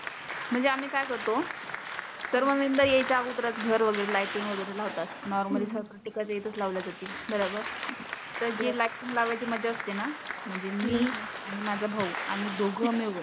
म्हणजे आम्ही काय करतो. सर्व मेंबर यायच्या आगोदरच घर वगैरे लायटींग वगैरे लावतात. नॉर्मली सारख ते काय एकच लावल्या जाती बरोबर? तर जे लायटींग लावायची मजा असतेना म्हणजे मी आणि माझा भाऊ आम्ही दोघ मिळून